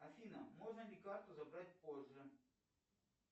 афина можно ли карту забрать позже